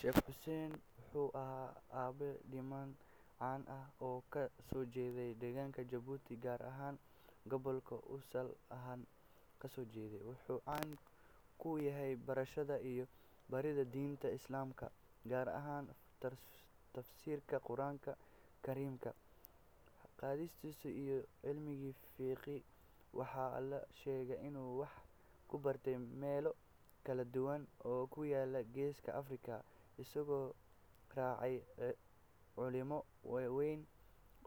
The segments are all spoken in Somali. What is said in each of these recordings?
Sheekh Xuseen wuxuu ahaa aabbe diimeed caan ah oo ka soo jeeday deegaanka Jabuuti, gaar ahaan gobolka uu asal ahaan kasoo jeeday. Wuxuu caan ku ahaa barashada iyo baridda diinta Islaamka, gaar ahaan tafsiirka Qur’aanka Kariimka, xadiiska, iyo cilmiga fiqiga. Waxaa la sheegaa inuu wax ku bartay meelo kala duwan oo ku yaalla Geeska Afrika, isagoo raacay culimo waaweyn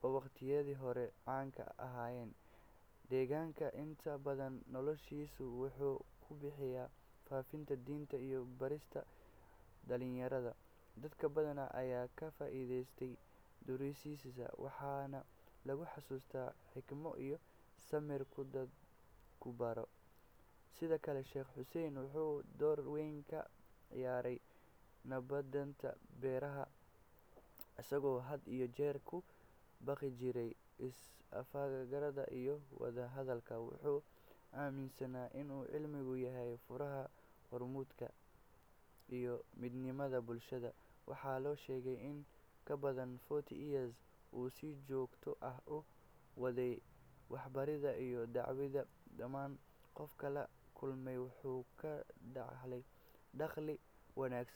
oo waqtiyadii hore caanka ka ahaa deegaanka. Inta badan noloshiisa wuxuu ku bixiyay faafinta diinta iyo barista dhalinyarada. Dad badan ayaa ka faa’iideystay duruustiisa, waxaana lagu xasuustaa xikmad iyo samir uu dadka ku barayo. Sidoo kale, Sheekh Xuseen wuxuu door weyn ka ciyaaray nabadeynta beelaha, isagoo had iyo jeer ku baaqi jiray is-afgarad iyo wadahadal. Wuxuu aaminsanaa in cilmigu yahay furaha horumarka iyo midnimada bulshada. Waxaa la sheegaa in ka badan forty years uu si joogto ah u waday waxbarista iyo dacwada. Dhammaan qofkii la kulmay wuxuu ka dhaxlay akhlaaq wanaagsan.